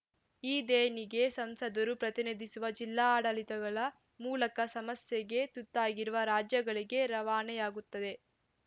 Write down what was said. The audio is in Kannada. ಈ ದೇಣಿಗೆ ಸಂಸದರು ಪ್ರತಿನಿಧಿಸುವ ಜಿಲ್ಲಾಡಳಿತಗಳ ಮೂಲಕ ಸಮಸ್ಯೆಗೆ ತುತ್ತಾಗಿರುವ ರಾಜ್ಯಗಳಿಗೆ ರವಾನೆಯಾಗುತ್ತದೆ